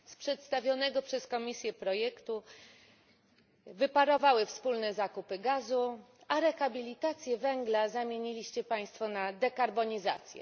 Z przedstawionego przez Komisję projektu wyparowały wspólne zakupy gazu, a rehabilitację węgla zamieniliście Państwo na dekarbonizację.